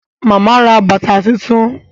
Màmá ra bàtà tuntun